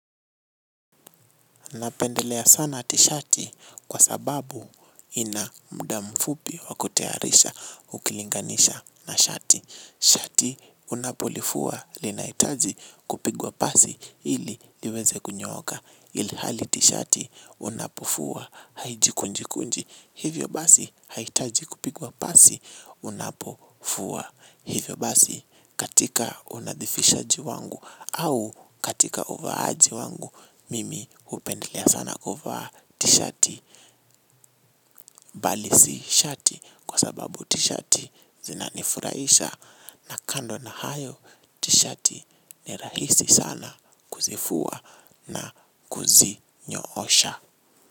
Napendelea sana tishati kwa sababu ina mda mfupi sana wa kutayarisha ukilinganisha na shati. Shati unapolifua linaitaji kupigwa pasi ili liweze kunyooka. Ilihali tishati unapofua haijikunjikunji. Hivyo basi haitaji kupigwa pasi unapofua. Hivyo basi katika unadhifishaji wangu au katika uvaaji wangu mimi upendelea sana kuvaa tishati bali si shati kwa sababu tishati zinanifuraisha na kando na hayo tishati ni rahisi sana kuzifua na kuzi nyoosha.